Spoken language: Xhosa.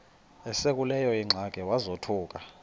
esekuleyo ingxaki wazothuka